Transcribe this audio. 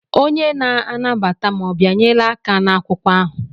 Onye na-anabata m ọ bịanyela aka n'akwụkwọ ahụ?